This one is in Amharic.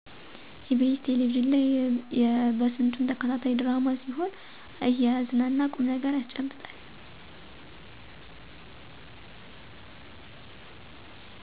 ኢ.ቢ.ስ ቴለቪዥን ላይ የበስንቱ ተከታታይ ድራማ ሲሆን እያዝናና ቁምነገር ያስጨብጣል።